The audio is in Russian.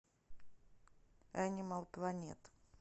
энимал плэнет